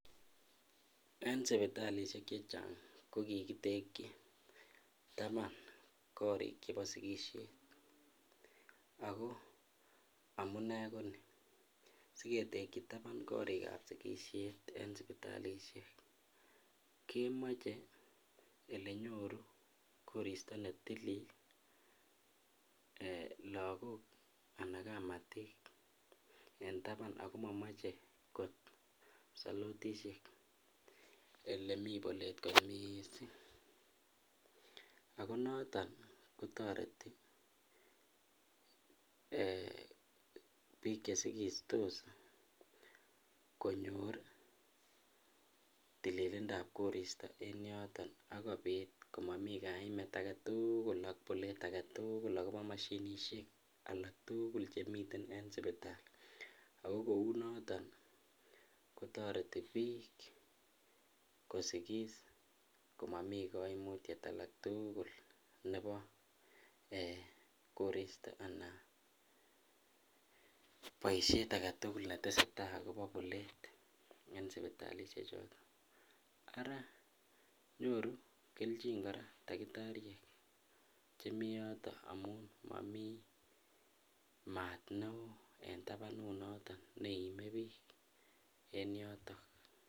En sipitalishek chechang ko kikitekyi taban korik chebo sikishet ak ko amune konii, siketekyi taban korikab sikishet en sipitalishek kemoche elenyoru koristo netilil lokok anan kamatik en taban ak ko momoche kot solotishek elemii bolet kot mising ak ko noton kotoreti biik chesikistos konyor tililindab koristo en yoton ak kobit komomi kaimet aketukul ak bolet aketukul akobo moshinishek alak tukul chemiten en sibitali ak ko kounoton ko toreti biik kosikis komomi koimutiet aketukul nebo eeh koristo anan boishet aketukul neteseta akobo bolet en sipitalishe choton, araa nyoru kelchin kora takitariek chemii yoton amun momii maat neo en tabanu noton neimebik en yotok.